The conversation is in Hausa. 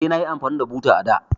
Eh, nayi amfani da buta a da.